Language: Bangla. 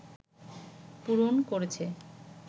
পূরণ করেছে